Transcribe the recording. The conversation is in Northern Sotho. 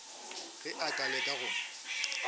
ge a ka leka go